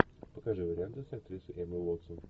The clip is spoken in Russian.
покажи варианты с актрисой эммой уотсон